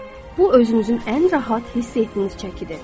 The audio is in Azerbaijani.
Bu özünüzün ən rahat hiss etdiyiniz çəkidir.